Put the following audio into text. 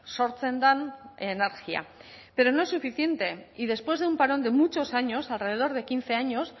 sortzen den energia pero no es suficiente y después de un parón de muchos años alrededor de quince años